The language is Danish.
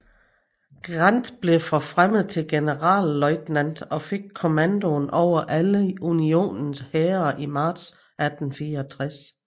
Grant blev forfremmet til generalløjtnant og fik kommandoen over alle Unionens hære i marts 1864